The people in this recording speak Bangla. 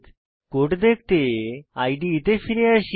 কোড দেখতে ইদে তে ফিরে যাই